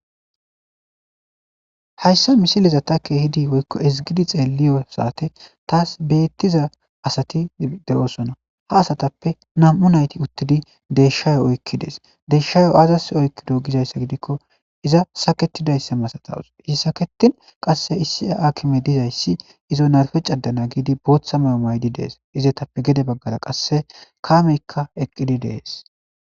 Hayssa misiliza takke hidi woykko izigidi xeeliyo saate taas beettiza asati de7osona. ha asatappe nam7u nayti uttidi deshayo oykki dees deshshayo aazas oykkido gizayssa gidikko iza saketidayssa masatawus izi saketin qasse issia akime dizayssi izo narfe cadana giidi booththa mayo maydi dees. izetappe gede baggara qasse kameykka eqqidi dees.